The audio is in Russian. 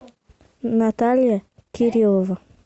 наталья кириллова